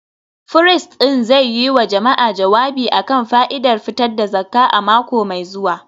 firist ɗin zai yi wa jama’a jawabi a kan fa’idar fitar da zakka a mako mai zuwa